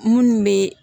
Munnu be